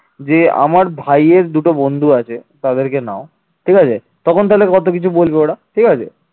যে আমার ভাইয়ের দুটো বন্ধু আছে তাদেরকে নাও ঠিক আছে তখন তাহলে ধরো কিছু বলবে ওরা ঠিক আছে